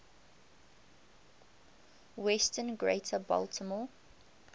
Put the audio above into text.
western greater baltimore